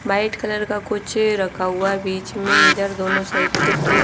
white colour का कुछ रखा हुआ है बीच में इधर दोनों साइड कुछ दो --